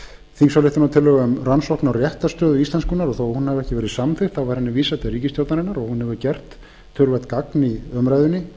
þingsályktunartillögu um rannsókn á réttarstöðu íslenskunnar þó að hún hafi ekki verið samþykkt var henni vísað til ríkisstjórnarinnar og hún hefur gert töluvert gagn í umræðunni